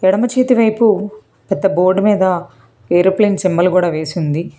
ఎడమ చేతి వైపు పెద్ద బోర్డు మీద ఏరోప్లేన్ సింబల్ కూడా వేసీ ఉంది.